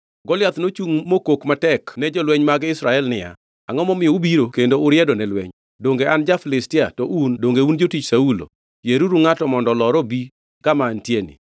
Goliath nochungʼ mokok ne jolweny mag Israel niya, “Angʼo momiyo ubiro kendo uriedo ne lweny? Donge an ja-Filistia, to un, donge un jotich Saulo? Yieruru ngʼato mondo olor obi kama antieni.